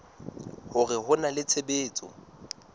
hore ho na le tshebetso